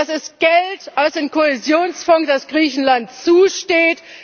Das ist Geld aus dem Kohäsionsfonds, das Griechenland zusteht.